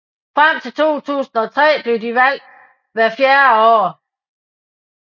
Frem til 2003 blev de valgt hvert fjerde år